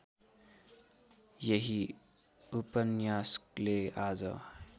यही उपन्यासले आज